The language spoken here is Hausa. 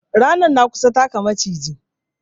Ranar na kusa taka Maciji